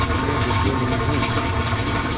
पर मैं बुद्धू नहीं हूँ